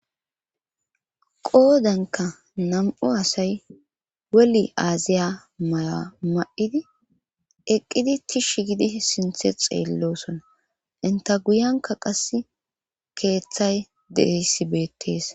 qoodenka nam7u asay weli aaziya mayoa ma7idi eqqidi tishsh gidi sinthe xeellosona inta guyanka qas keeththay deeyssi beettees